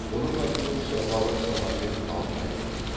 оның айтуынша бала шамамен алты айлық